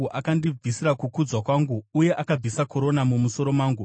Akandibvisira kukudzwa kwangu, uye akabvisa korona mumusoro mangu.